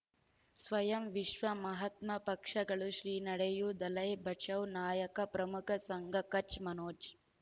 ಸ್ವಯಂ ವಿಶ್ವ ಮಹಾತ್ಮ ಪಕ್ಷಗಳು ಶ್ರೀ ನಡೆಯೂ ದಲೈ ಬಚೌ ನಾಯಕ ಪ್ರಮುಖ ಸಂಘ ಕಚ್ ಮನೋಜ್